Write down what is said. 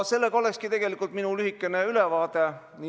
Selline olekski tegelikult minu lühike ülevaade.